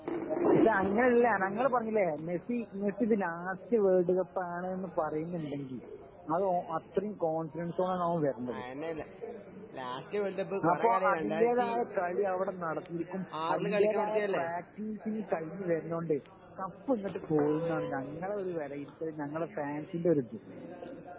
പക്ഷേ അങ്ങനല്ല ഞങ്ങള് പറഞ്ഞില്ലേ മെസ്സി മെസ്സി ഇത് ലാസ്റ്റ് വേൾഡ് കപ്പാണ് ന്നു പറയുന്നുണ്ടെങ്കിലും അതേ അത്രേം കോൺഫിഡൻസോടെയാണ് അവൻ വരുന്നത് . അപ്പോ അതിന്റേതായ കളി അവിടെ നടത്തിയിരിക്കും അതിന്റേതായ പ്രാക്ടീസ് കഴിഞ്ഞു വരുന്നോണ്ടു കപ്പ് ഇങ്ങട് പോരൂന്നാണ് ഞങ്ങളെ ഒരു വിലയിരുത്തല് ഞങ്ങടെ ഫാൻസിന്റെ ഒരു ഇത്